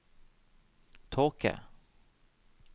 tåke